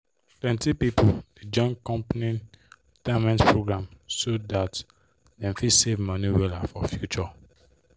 plenty people dey join company retirement program so that dem fit save money wella for future